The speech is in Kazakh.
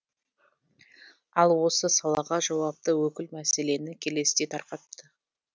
ал осы салаға жауапты өкіл мәселені келесідей тарқатты